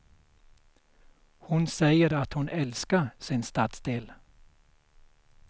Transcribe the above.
Hon säger att hon älskar sin stadsdel.